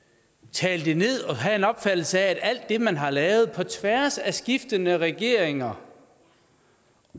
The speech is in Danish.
tale det ned og have en forkert opfattelse af alt det man har lavet på tværs af skiftende regeringer